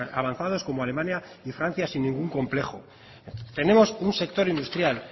avanzados como alemania y francia sin ningún complejo tenemos un sector industrial